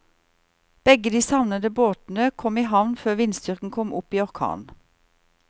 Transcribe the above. Begge de savnede båtene kom i havn før vindstyrken kom opp i orkan.